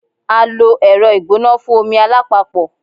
A lo ẹrọ igbona fun omi alapapo